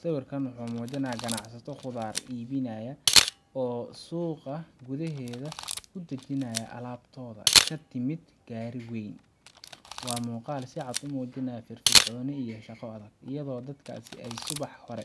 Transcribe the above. Sawirkan wuxuu muujinayaa ganacsato khudaar iibinaya oo suuqa gudaheeda ku dajinaya alaabtooda ka timid gaari weyn. Waa muuqaal si cad u muujinaya firfircooni iyo shaqo adag, iyadoo dadkaasi ay subax hore